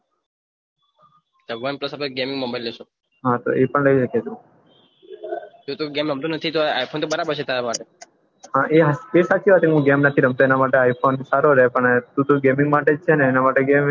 ભગવાન કેસે તો ગેમિંગ mobile લેસો હા એ પન લઇ હકે તું તું તો ગેમ રમતો નથી તો i phone બરાબર છે તારા માટે એ સાચી વાત હું ગેમ નથી રમતો એના માટે i phone સારો રહે તું તો ગેમિંગ માટે છે એના માટે